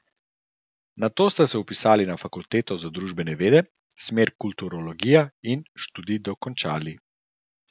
Nato ste se vpisali na fakulteto za družbene vede, smer kulturologija, in študij dokončali.